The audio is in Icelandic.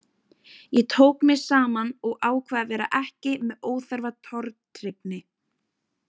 Ég tók mig saman og ákvað að vera ekki með óþarfa tortryggni.